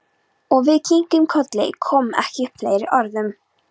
Og við kinkuðum kolli, komum ekki upp fleiri orðum.